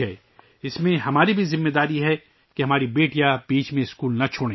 اس میں ہماری بھی ذمہ داری ہے کہ ہماری بیٹیاں درمیان میں اسکول نہ چھوڑیں